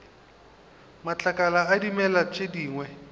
matlakala a dimela tše dingwe